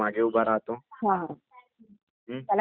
हा.........त्याला keeper म्हणतात.